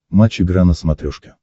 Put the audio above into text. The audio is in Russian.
матч игра на смотрешке